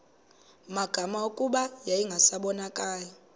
magama kuba yayingasabonakali